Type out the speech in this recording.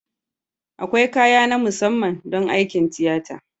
Akwai kaya na musamman don aikin tiyata